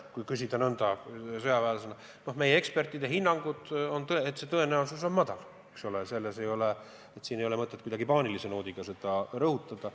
Kui küsida nõnda sõjaväelasena, siis meie ekspertide hinnangud on, et tõenäosus on väike, siin ei ole mõtet kuidagi paanilise noodiga seda ohtu rõhutada.